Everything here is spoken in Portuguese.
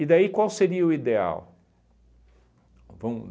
daí qual seria o ideal? Vamos